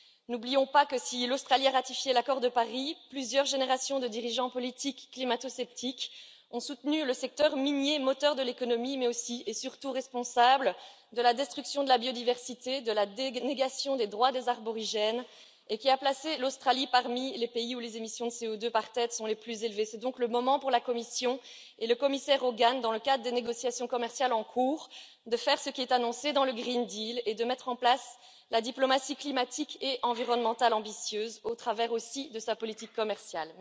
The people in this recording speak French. N'oublions pas que si l'Australie a ratifié l'accord de Paris, plusieurs générations de dirigeants politiques climatosceptiques ont soutenu le secteur minier, moteur de l'économie, mais aussi et surtout, responsable de la destruction de la biodiversité, de la négation des droits des aborigènes et qui a placé l'Australie parmi les pays où les émissions de CO2 par tête sont les plus élevées. C'est donc le moment pour la Commission et le commissaire Hogan dans le cadre des négociations commerciales en cours, de faire ce qui est annoncé dans le Pacte vert pour l'Europe et de mettre en place la diplomatie climatique et environnementale ambitieuse au travers aussi de sa politique commerciale.